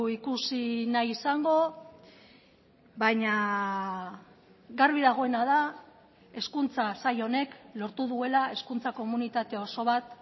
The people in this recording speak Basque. ikusi nahi izango baina garbi dagoena da hezkuntza sail honek lortu duela hezkuntza komunitate oso bat